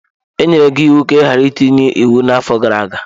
E nyere gị iwu ka ị ghara itinye iwu n'afọ gara aga!